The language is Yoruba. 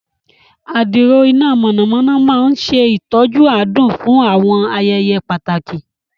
Adiro iná mọ̀nàmọ́ná máa ń ṣe ìtọ́jú adùn fún àwọn ayẹyẹ pàtàkì.